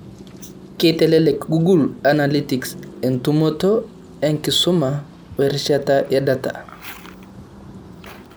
Keitelelek google annalytics entumoto, enkisuma, we rishata e data.